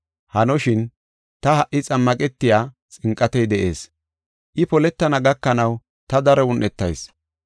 Hanoshin, ta ha77i xammaqetey xinqatey de7ees. I poletana gakanaw ta daro un7etayis.